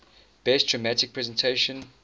best dramatic presentation